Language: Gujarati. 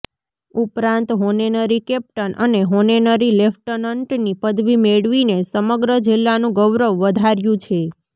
ઉપરાંત હોનેનરી કેપ્ટન અને હોનેનરી લેફ્ટનન્ટની પદવી મેળવીને સમગ્ર જિલ્લાનું ગૌરવ વધાર્યું છે